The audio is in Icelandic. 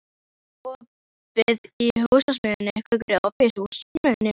Gaukur, er opið í Húsasmiðjunni?